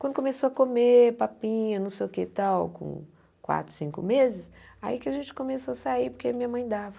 Quando começou a comer papinha, não sei o que e tal, com quatro, cinco meses, aí que a gente começou a sair, porque minha mãe dava.